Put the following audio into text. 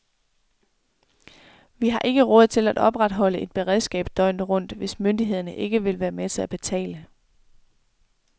Vi har ikke råd til at opretholde et beredskab døgnet rundt, hvis myndighederne ikke vil være med til at betale.